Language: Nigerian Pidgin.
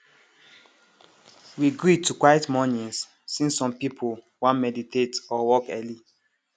we gree to quiet mornings since some people wan meditate or work early